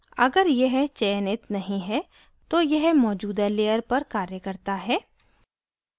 अगर यह चयनित नहीं है तो यह मौजूदा layer पर कार्य करता है